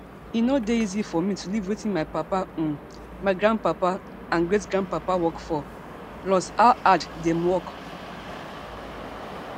e no dey easy for me to leave wetin my papa um my grandpapa and great grandpapa work for plus how hard dem work